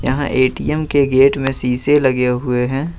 यहां ATM gate गेट में शीशे लगे हुए हैं।